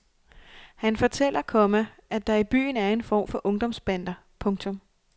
Han fortæller, komma at der i byen er en form for ungdomsbander. punktum